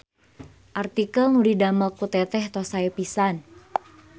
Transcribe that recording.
Artikel nu didamel ku teteh tos sae pisan